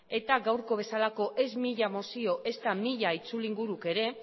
eta gaurko bezalako ez mila mozio ezta mila itzulinguruk ere